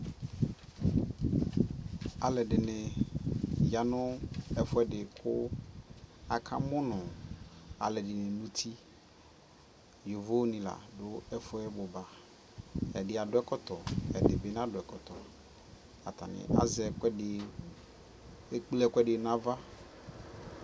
alʋɛdini yanʋ ɛƒʋɛdi kʋ aka mʋnʋ alʋɛdini nʋ ʋti, yɔvɔ ni ladʋ ɛƒʋɛ ɔbʋba, ɛdi adʋ ɛkɔtɔ, ɛdi nadʋ ɛkɔtɔb, atani azɛ ɛkʋɛdi, ɛkplɛ ɛkʋɛdi nʋ aɣa